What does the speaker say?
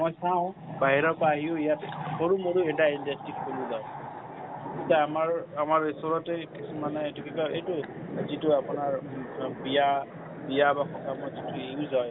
মই চাওঁ বাহিৰৰ পৰা আহিওঁ ইয়াত সৰু মৰু এটা industry খুলি লই। এতিয়া আমাৰ আমাৰ ওচৰতেই মানে এইটো কি কই যিতো আপোনাৰ বিয়া বিয়া use হয়